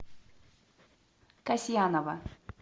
касьянова